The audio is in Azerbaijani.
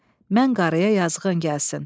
Mən qarıya yazığın gəlsin.